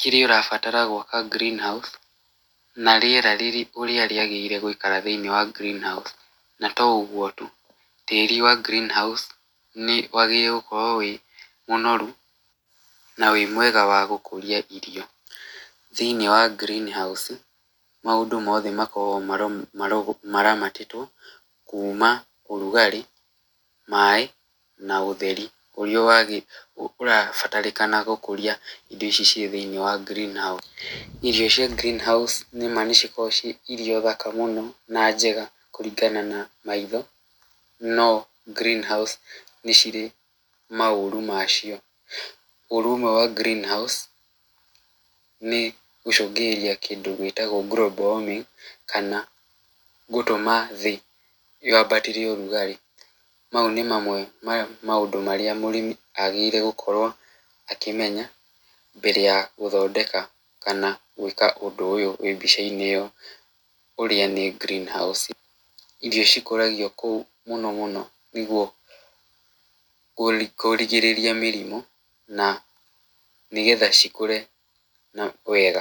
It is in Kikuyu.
kĩrĩa ũrabatara gwaka green house, na rĩera ũrĩa rĩagĩrĩire gũikara thĩinĩ wa green house. Na to ũguo tu tĩri wa green house nĩ wagĩrĩire gũkorwo wĩ mũnoru na wĩ mwega wa gũkũria irio. Thĩinĩ wa ngirini haũci maũndũ mothe makoragwo maramatĩtwo kuma ũrugarĩ, maaĩ na ũtheri ũrĩa ũrabatarĩkana gũkũria indo ici ciĩ thĩinĩ wa green house. Irio cia green house nĩma nĩcikoragwo cirĩ thaka mũno na njega kũringana na maitho, no green house nĩcirĩ maũru macio. Ũru ũmwe wa green house nĩ gũcũngĩrĩria kĩndũ gĩtagwo global warming kana gũtũma thĩ yambatĩre ũrugarĩ. Mau nĩ mamwe ma maũndũ marĩa mũrĩmi agĩrĩirwo nĩ gũkorwo akĩmenya mbere ya gũthondeka kana gwĩka ũndũ ũyũ wĩ mbicainĩ ĩyo ũrĩa ni ngirini haũci. Irio cikũragio kũu mũno mũno nĩguo kũrigĩrĩria mĩrimũ na nĩgetha cikũre wega.